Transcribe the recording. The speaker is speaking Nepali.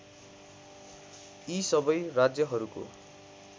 यी सबै राज्यहरूको